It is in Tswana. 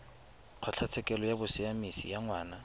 kgotlatshekelo ya bosiamisi ya ngwana